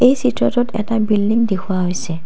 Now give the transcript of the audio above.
এই চিত্ৰটোত এটা বিল্ডিং দেখুওৱা হৈছে।